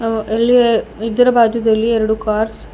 ಅ ಇಲ್ಲಿ ಇದರ ಬಾಜುದಲ್ಲಿ ಎರಡು ಕಾರ್ಸ್ --